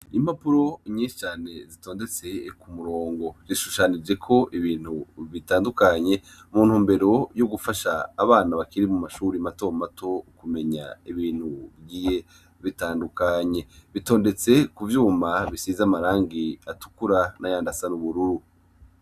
Impapuro nyinshicane zitondetse ku murongo rishushanije ko ibintu bitandukanye muntu mbero yo gufasha abana bakiri mu mashuri mato mato ukumenya ibintu bwiye bitandukanye bitondetse ku vyuma bisiza amarangi atukura n'ayandasana ubururu.